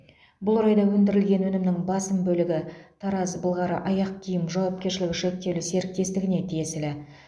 бұл орайда өндірілген өнімнің басым бөлігі тараз былғары аяқ киім жауапкершілігі шектеулі серіктестігіне тиесілі